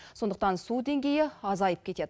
сондықтан су деңгейі азайып кетеді